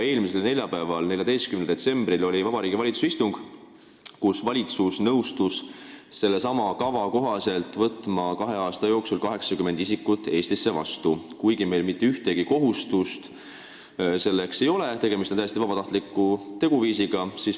Eelmisel neljapäeval, 14. detsembril oli Vabariigi Valitsuse istung, kus valitsus nõustus sellesama kava kohaselt kahe aasta jooksul Eestisse võtma 80 isikut, kuigi meil mitte ühtegi kohustust selleks ei ole, tegemist on täiesti vabatahtliku teguviisiga.